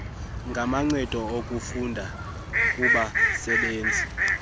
ngamancedo okufunda kubasebenzi